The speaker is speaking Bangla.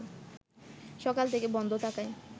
সকাল থেকে বন্ধ থাকায়